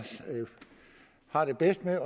har det bedst med